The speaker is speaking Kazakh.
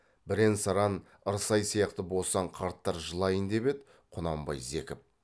бірен саран ырсай сияқты босаң қарттар жылайын деп еді құнанбай зекіп